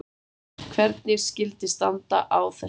Hvernig skyldi standa á þessu?